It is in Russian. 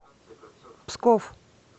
псков